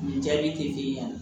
Nin jaabi tɛ k'i ɲɛ